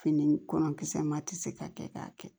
Fini kɔlɔn kisɛ ma tɛ se ka kɛ k'a kɛ